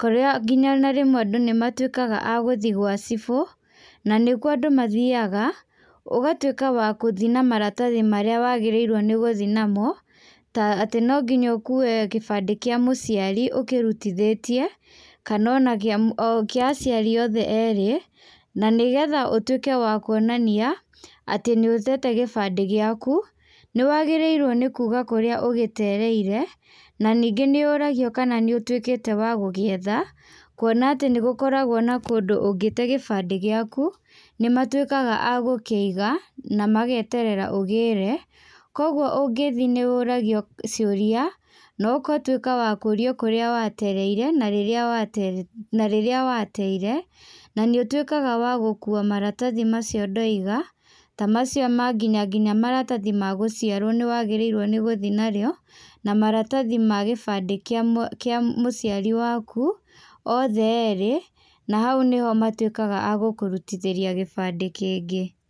kũrĩa nginya ona rĩmwe andũ nĩ matuĩkaga a gũthiĩ gwa cibũ, na nĩkuo andũ mathiaga, ũgatwĩka wa gũthiĩ na maratathi marĩa wagĩrĩirwo nĩ gũthiĩ namo, ta atĩ no nginya ũkue gĩbandĩ kĩa mũciari ũkĩrutithĩtie, kana o kĩa aciari othe erĩ, na nĩgetha ũtuĩke wa kuonania, atĩ nĩ ũtete gĩbandĩ gĩaku, nĩ wagĩrĩirwo nĩ kuuga kũríĩ ũgĩtereire, na ningĩ nĩ ũragio kana nĩ ũtuĩkĩte wa gũgĩetha, kuona atĩ nĩ gũkoragwo na kũndũ ũngĩte gĩbandĩ gĩaku, nĩ matuĩkaga a gũkĩiga, na mageterera ũgĩre, kogwo ũngĩthiĩ nĩ ũragio ciũria, nogatwĩka wa kũrio kũrĩa watereire, na rĩrĩa watere na rĩrĩa wateire, na nĩ ũtuĩkaga wa gũkua maratathi macio ndoiga, ta macio ma nginya nginya maratathi ma gũciarwo nĩ wagĩrĩirwo nĩ gũthiĩ narĩo, na maratathi ma gĩbandĩ kĩa, kĩa mũciari waku, othe erĩ, na hau nĩho matuĩkaga agũkũrutithĩria gĩbandĩ kĩngĩ.